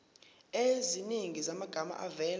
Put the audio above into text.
eziningi zamagama avela